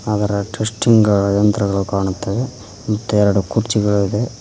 ಅದರ ಟೆಸ್ಟಿಂಗ್ ಯಂತ್ರಗಳು ಕಾಣುತ್ತವೆ ಮತ್ತೆ ಎರಡು ಕುರ್ಚಿಗಳಿದೆ.